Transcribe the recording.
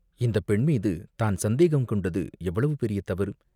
இந்தப் பெண்மீது தான் சந்தேகங் கொண்டது எவ்வளவு பெரிய தவறு!